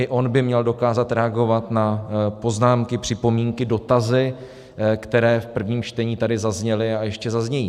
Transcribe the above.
I on by měl dokázat reagovat na poznámky, připomínky, dotazy, které v prvním čtení tady zazněly a ještě zaznějí.